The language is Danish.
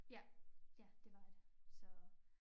Ja ja det var det så